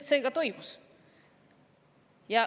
Ja see ka toimus.